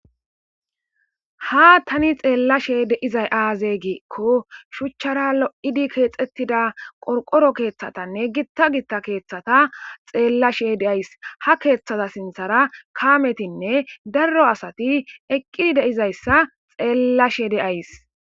Ha tani xelashe de'izay aze giko shuchara lo'idi kexetida qorqoro keethatane gita gita keethata xelashe de'izaysi ha keethaza sinthatara kametinne daro asati eqi de'izaysia xelashe de'izaysi